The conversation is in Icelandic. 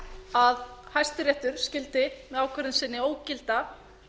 að hæstiréttur skyldi með ákvörðun sinni ógilda